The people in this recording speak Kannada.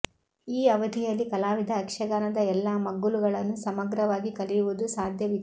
ಈ ಅವಧಿಯಲ್ಲಿ ಕಲಾವಿದ ಯಕ್ಷಗಾನದ ಎಲ್ಲ ಮಗ್ಗುಲುಗಳನ್ನು ಸಮಗ್ರವಾಗಿ ಕಲಿಯುವುದು ಸಾಧ್ಯವಿತ್ತು